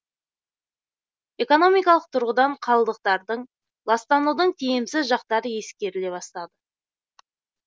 экономикалық тұрғыдан қалдықтардың ластанудың тиімсіз жақтары ескеріле бастады